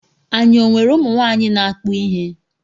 Anyị ọ nwere ụmụ nwaanyị na-akpụ ihe.